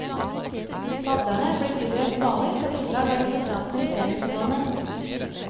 Padlerne blir tildelt baner på grunnlag av resultatene i semifinalene.